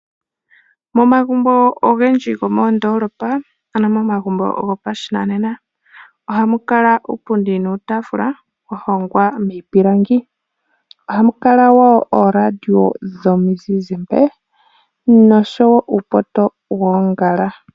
Momagumbo ogendji gomoOndolopa ano momagumbo gopa shinanena, ohamu kala uupundi nuutaafula wa hongwa miipilangi. Ohamu kala wo ooradio dhomi zizimba nosho wo uupoto woongala.